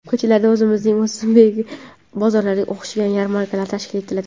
Ko‘chalarda o‘zimizning o‘zbek bozorlariga o‘xshagan yarmarkalar tashkil etiladi.